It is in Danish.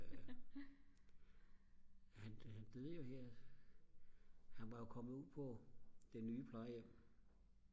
han døde jo her han var jo kommet ud på det nye plejehjem